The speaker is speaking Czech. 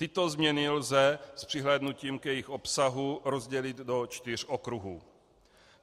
Tyto změny lze s přihlédnutím k jejich obsahu rozdělit do čtyř okruhů.